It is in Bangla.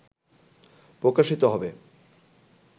প্রকাশিত হবে